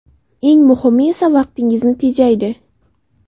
Eng muhimi esa vaqtingizni tejaydi.